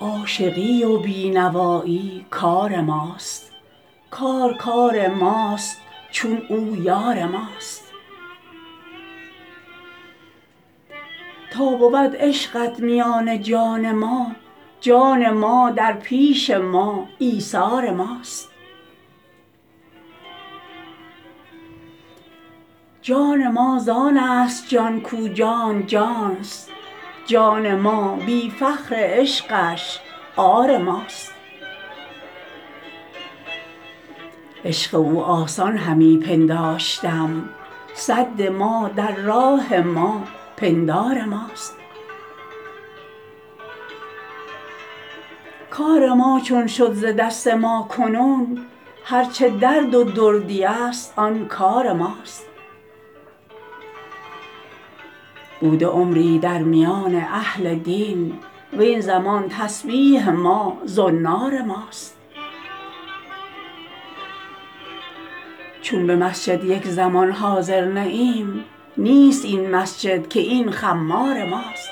عاشقی و بی نوایی کار ماست کار کار ماست چون او یار ماست تا بود عشقت میان جان ما جان ما در پیش ما ایثار ماست جان ما زان است جان کو جان ماست جان ما بی فخر عشقش عار ماست عشق او آسان همی پنداشتم سد ما در راه ما پندار ماست کار ما چون شد ز دست ما کنون هرچه درد و دردی است آن کار ماست بوده عمری در میان اهل دین وین زمان تسبیح ما زنار ماست چون به مسجد یک زمان حاضر نه ایم نیست این مسجد که این خمار ماست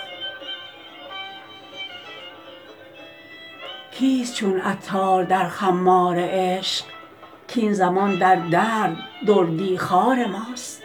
کیست چون عطار در خمار عشق کین زمان در درد دردی خوار ماست